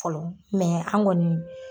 Fɔlɔ, an kɔni.